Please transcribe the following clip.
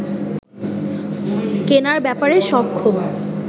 কেনার ব্যাপারে সক্ষম